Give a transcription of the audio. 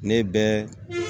Ne bɛ